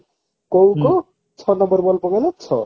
କହୁ କହୁ ଛଅ number ball ପକେଇଲା ଛଅ